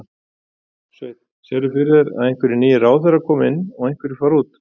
Sveinn: Sérðu fyrir þér að einhver nýir ráðherrar koma inn og einhverjir fara út?